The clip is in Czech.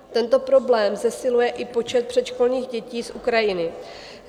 Tento problém zesiluje i počet předškolních dětí z Ukrajiny.